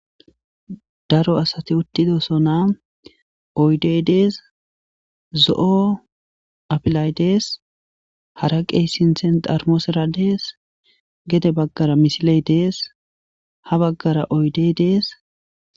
Daro asathi uththididosona; oydee des; zo7o afilay des; haraqe sinththera xarmusera des; gede baggara misile de7es; ha baggara oyde des7es.